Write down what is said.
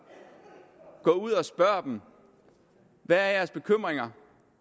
gå ud og spørg dem hvad er jeres bekymringer